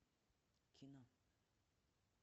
кино